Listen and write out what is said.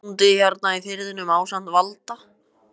Ég er bóndi hérna í firðinum ásamt Valda